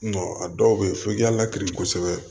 a dɔw bɛ yen f'i k'a lakiri kosɛbɛ